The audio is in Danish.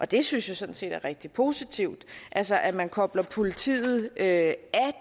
det synes jeg sådan set er rigtig positivt altså at man kobler politiet af